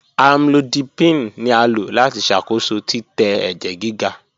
Amlodipine ni a lo lati ṣakoso titẹ ẹjẹ giga.